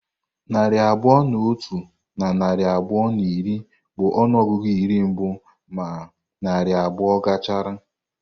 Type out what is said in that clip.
Narị abụọ na otu na narị abụọ na iri bụ ọnụọgụ iri mbụ ma narị abụọ gachara.